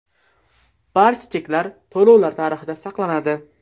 Barcha cheklar to‘lovlar tarixida saqlanadi.